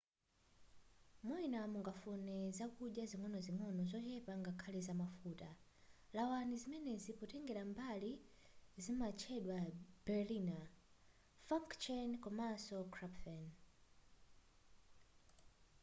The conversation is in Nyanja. mwina mungafune zakudya zing'onozing'ono zochepa ngakhale zamafuta lawani zimenezi potengera mbali zimatchedwa berliner pfannkuchen komanso krapfen